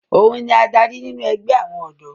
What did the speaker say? òun ni adarí nínú ẹgbẹ́ àwọn ọ̀dọ́